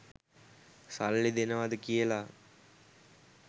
සල්ලි දෙනවද කියලා.